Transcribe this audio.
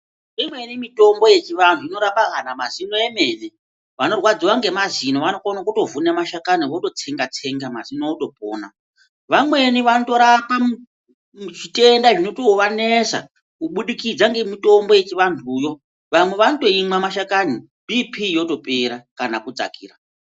Imweni mitombo yechivantu inorapa kana mazino emene vanorwafziwa nemazino vanokona kutovhuna mashakani vototsenga tsenga mazino otopona vamweni vanotorapa chitenda zvinotovanetsa kubudikidza nemitombo yechivantuyo vamwe vanotomwa mashakani BP yotoema kana kudzakira.